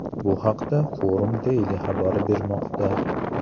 Bu haqda Forum Daily xabar bermoqda .